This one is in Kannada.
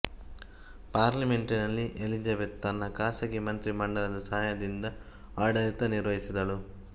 ಪಾರ್ಲಿಮೆಂಟಿನಲ್ಲಿ ಎಲಿಜ಼ಬೆಥ್ ತನ್ನ ಖಾಸಗಿ ಮಂತ್ರಿ ಮಂಡಲದ ಸಹಾಯದಿಂದ ಆಡಳಿತ ನಿರ್ವಹಿಸಿದಳು